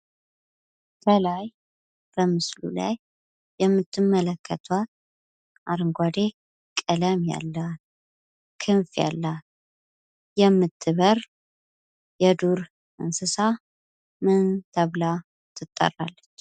ከላይ በምስሉ ላይ የምትመለከቷት አረንጓዴ ቀለም ያላት ክንፍ ያላት የምትበር የዱር እንስሳ ምን ተብላ ትጠራለች?